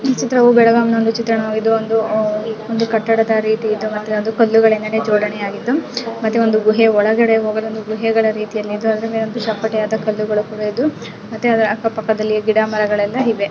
ಈ ಚಿತ್ರವು ಬೆಳಗಾಂ ನ ಒಂದು ಚಿತ್ರಣವಾಗಿದ್ದು ಒಂದು ಆಹ್ಹ್ ಒಂದು ಕಟ್ಟಡದ ರೀತಿ ಮತು ಕಳ್ಳು ನಿಂದ ಜೋಡಣೆ ಅಗಿದು ಮತ್ತೆ ಒಂದು ಗುಹೆ ಒಳಗಡೆ ಹೋಗಲು ಗುಹೆ ರೀತಿಯ ಮತ್ತೆ ಅದರ ಅಕ್ಕ ಪಕ್ಕದಲಿ ಗಿಡ ಮರಗಲೆಲ್ ಇವೆ.